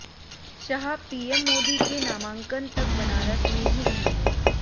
Shah PM Modi के नामांकन तक बनारस में ही रहेंगे